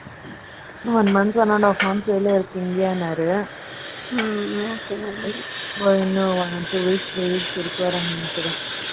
ம். One month one and half hour ல இருக்கீங்கனாரு ம்ம், okay, நல்லது.